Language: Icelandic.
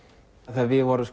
við vorum